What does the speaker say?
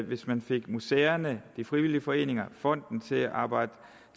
hvis man fik museerne de frivillige foreninger og fonden til at arbejde